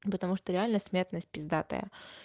потому что реально смертность пиздатая